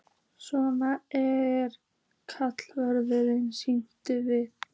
Svona eru karnivölin, allt snýst við.